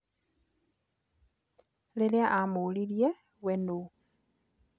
Rĩrĩa amũririe we nũ.